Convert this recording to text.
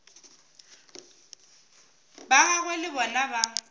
ba gagwe le bona ba